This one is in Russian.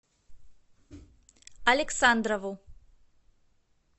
александрову